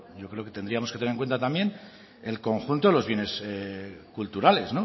yo creo que tendríamos que tener en cuenta también el conjunto de los bienes culturales